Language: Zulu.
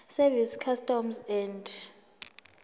service customs and